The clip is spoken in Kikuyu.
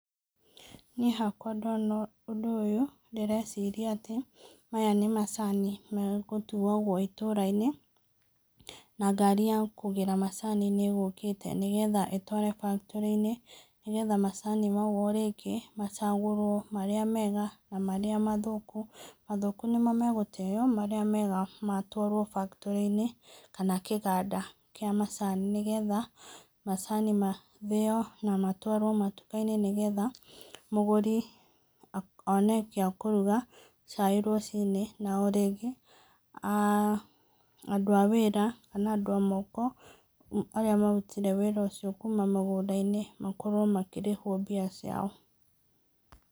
Niĩ hakwa ndona ũndũ ũyũ ndĩreciria atĩ maya nĩ macani megũtuagwo itũra-inĩ na ngari ya kũgĩra macani nĩĩgũkĩte, nĩgetha ĩtware bakitorĩ-inĩ, nĩgetha macani mau o rĩngĩ macagũrwo marĩa mega na marĩa mathũku. Mathũku nĩmo megũteyo, marĩa mega matwarwo bakitorĩ-inĩ, kana kĩganda kĩa macani, nĩgetha macani mathĩo na matwarwo matuka-inĩ, nĩgetha mũgũri one gĩa kũruga cai rũcinĩ, na o rĩngĩ andũ a wĩra kana andũ a moko arĩa marutire wĩra ũcio kuma mũgũnda-inĩ makorwo makĩrĩhwo mbia ciao